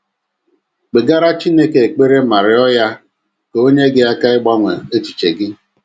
Kpegara Chineke ekpere ma rịọ ya ka o nyere gị aka ịgbanwe echiche gị.